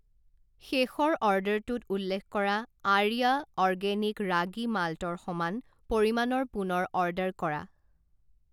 শেষৰ অৰ্ডাৰটোত উল্লেখ কৰা আৰ্য়া অৰ্গেনিক ৰাগী মাল্টৰ সমান পৰিমাণৰ পুনৰ অৰ্ডাৰ কৰা।